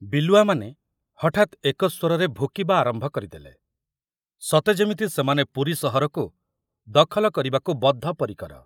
ବିଲୁଆମାନେ ହଠାତ ଏକସ୍ବରରେ ଭୁକିବା ଆରମ୍ଭ କରିଦେଲେ, ସତେ ଯେମିତି ସେମାନେ ପୁରୀ ସହରକୁ ଦଖଲ କରିବାକୁ ବଦ୍ଧପରିକର।